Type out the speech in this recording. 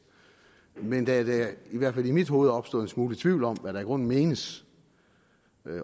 men da der i hvert fald i mit hoved er opstået en smule tvivl om hvad der i grunden menes